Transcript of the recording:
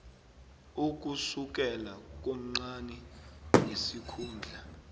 ukusukela komncani ngesikhundla